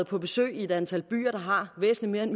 på besøg i et antal byer der har væsentlig mere end